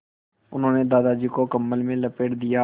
उन्होंने दादाजी को कम्बल में लपेट दिया